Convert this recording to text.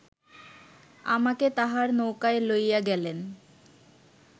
আমাকে তাঁহার নৌকায় লইয়া গেলেন